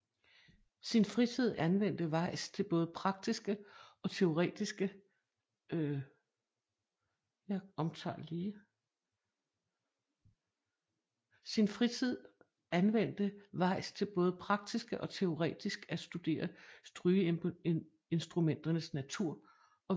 Sin fritid anvendte Weis til både praktisk og teoretisk at studere strygeinstrumenternes natur og væsen